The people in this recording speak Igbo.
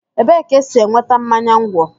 Ebee ka e si enweta mmanya ńgwọ?